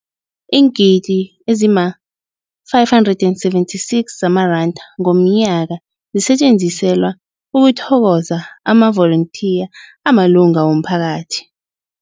Iingidi ezima-576 zamaranda ngomnyaka zisetjenziselwa ukuthokoza amavolontiya amalunga womphakathi.